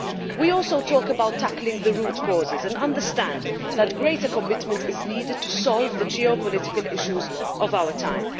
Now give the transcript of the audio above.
We also talk about tackling the root causes and understand that greater commitment is needed to solve the geopolitical issues of our time.